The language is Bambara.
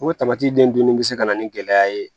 O den dunni bɛ se ka na ni gɛlɛya ye